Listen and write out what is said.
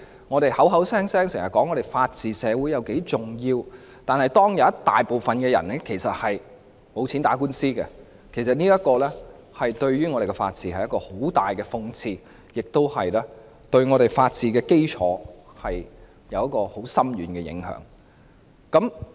我們經常說香港是法治社會，這一點很重要，但當大部分人沒錢打官司，其實對本港的法治是很大的諷刺，對法治基礎亦有很深遠的影響。